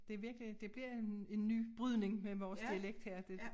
Det virkelig det bliver en en ny brydning men vores dialekt her det